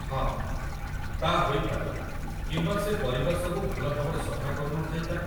ହଁ, ତା' ହୋଇପାରେ କିମ୍ବା ସେ ପରିବା ସବୁ ଭଲ ଭାବରେ ସଫା କରୁନଥାଇପାରେ।